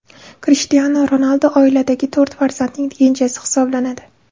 Krishtianu Ronaldu oiladagi to‘rt farzandning kenjasi hisoblanadi.